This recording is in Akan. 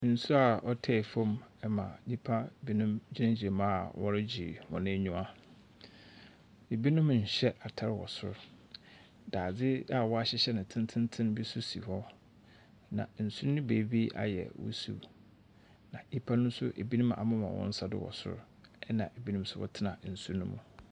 Nsu a ɔtaa famu ma nyimpa binom gyinagyina mu a wɔregye hɔn enyiwa. Binom nnhyɛ atar wɔ sor. Dadze a wɔahyehyɛ no tsentsenntsen bi so si hɔ, na nsu ne beebi ayɛ wusiw. Na nyimpa no binom amema hɔn nsa do wɔ sor na binom so wɔtsena nsu no mu.